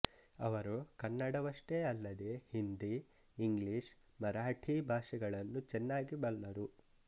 ಅವರು ಕನ್ನಡವಷ್ಟೇ ಅಲ್ಲದೆ ಹಿಂದಿ ಇಂಗ್ಲೀಷ್ ಮರಾಠೀ ಭಾಷೆಗಳನ್ನು ಚೆನ್ನಾಗಿ ಬಲ್ಲರು